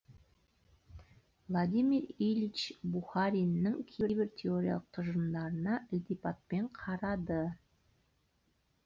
владимир ильич бухариннің кейбір теориялық тұжырымдарына ілтипатпен қарады